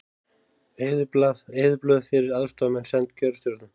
Eyðublöð fyrir aðstoðarmenn send kjörstjórnum